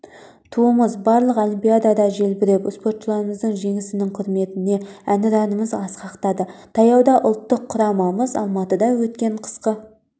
туымыз барлық олимпиадада желбіреп спортшыларымыздың жеңісінің құрметіне әнұранымыз асқақтады таяуда ұлттық құрамамыз алматыда өткен қысқы